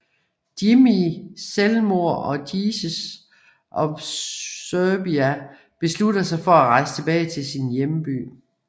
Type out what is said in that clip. Jimmy selvmord og Jesus of Suburbia beslutter sig for at rejse tilbage til sin hjemby